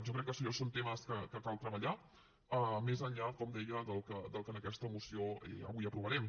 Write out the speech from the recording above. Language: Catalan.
jo crec que això són temes que cal treballar més enllà com deia del que en aquesta moció avui aprovarem